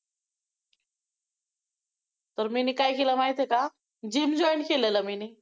तर मी नी काय केलं माहितेय का? gym join केलेलं मी नी!